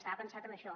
estava pensat en això